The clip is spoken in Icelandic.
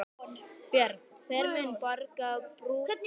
Björn: Hver mun borga brúsann?